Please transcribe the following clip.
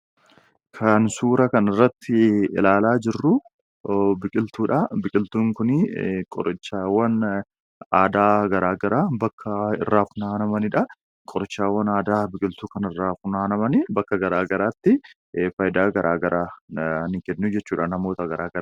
Kan suuraa kanarratti ilaalaa jirru biqiltuudha. Biqiltuun kun qorichaawwan aadaa garaagaraa bakka irraa funaanamanidha. Qorichaawwan aadaa biqiltuu kanarraa funaanamanii bakka garaagaraatti fayidaa garaagaraa ni kennuu jechuudha namoota garaagaraatiif.